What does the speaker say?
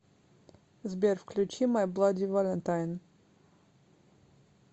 сбер включи май блади валентайн